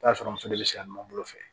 I bi t'a sɔrɔ muso de be siran ɲɔgɔn bolo fɛ